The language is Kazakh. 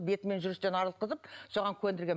бетімен жүрістен арылтқызып соған көндірген